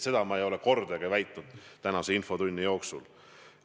Seda ma ei ole kordagi väitnud tänase infotunni jooksul.